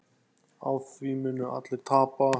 Á því munu allir tapa.